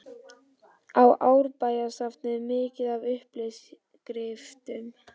Á Árbæjarsafnið mikið af uppskriftum?